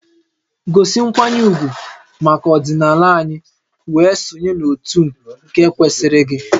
Gosi nkwanye ugwu maka ọdịnala anyị wee sonye n'òtù nke kwesịrị gị!